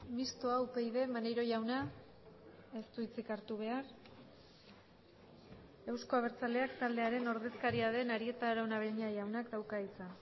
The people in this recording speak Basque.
mistoa upyd maneiro jauna ez du hitzik hartu behar euzko abertzaleak taldearen ordezkaria den arieta araunabeña jaunak dauka hitza